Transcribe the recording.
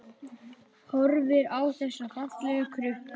Horfir á þessa fallegu krukku.